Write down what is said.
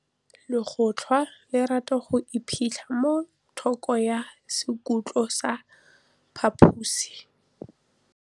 Legôtlô le rata go iphitlha mo thokô ga sekhutlo sa phaposi.